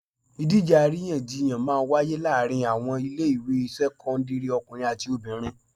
Ìdíje àríyànjiyàn máa wáyé láàárín àwọn ilé ìwé sẹ́kọ́ńdírì ọkùnrin àti obìnrin.